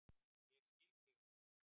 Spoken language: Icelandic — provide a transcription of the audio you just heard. Ég skil þig ekki